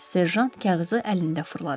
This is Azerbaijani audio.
Serjant kağızı əlində fırladı.